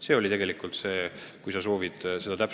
Selline täpsustus, kui sa soovid seda saada.